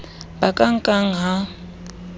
ba ka e nkang ha